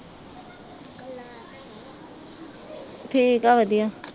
ਠੀਕ ਹੈ ਵਧੀਆ